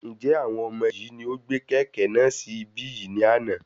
Njẹ àwọn ọmọ yìí ní ó gbé kẹ́kẹ̀ náà sì ibí yìí ní àna?